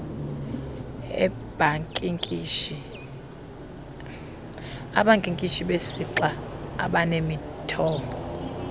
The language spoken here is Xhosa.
abankinkishi besixa abanemithombo